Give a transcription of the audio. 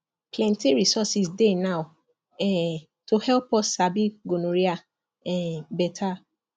plenty resources dey now um to help us sabi gonorrhea um better